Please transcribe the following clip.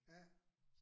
Ja